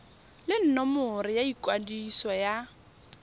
le nomoro ya ikwadiso ya